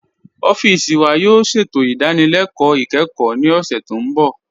Ọfiisi wa yóò ṣẹ̀tò idànílélẹ̀kọ ikẹ́kọ̀ ní ọṣẹ̀ tó nbọ̀.